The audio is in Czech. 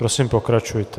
Prosím, pokračujte.